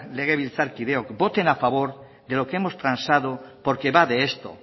legebiltzarkideok voten a favor de lo que hemos transado porque va de esto